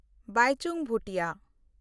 ᱵᱟᱭᱪᱩᱝ ᱵᱷᱩᱴᱤᱭᱟ